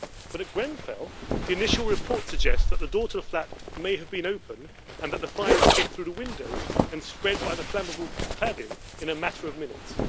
But at Grenfell, the initial reports suggest that the door to a flat may have been open and that the fire escaped through the window and spread by the flammable cladding in a matter of minutes.